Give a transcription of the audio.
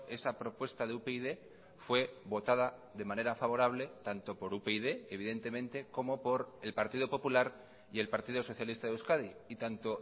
esa propuesta de upyd fue votada de manera favorable tanto por upyd evidentemente como por el partido popular y el partido socialista de euskadi y tanto